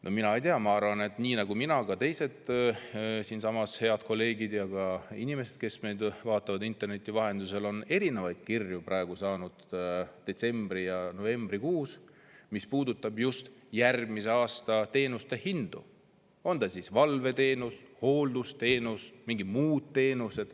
No ma ei tea, ma arvan, et nii nagu mina on ka teised head kolleegid siinsamas ja inimesed, kes meid vaatavad interneti vahendusel, saanud detsembri‑ ja novembrikuus erinevaid kirju, mis puudutavad teenuste hindu järgmisel aastal, on see siis valveteenus, hooldusteenus või mingi muu teenus.